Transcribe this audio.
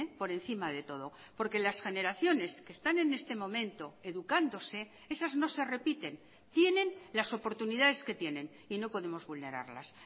por encima de todo porque las generaciones que están en este momento educándose esas no se repiten tienen las oportunidades que tienen y no podemos vulnerarlas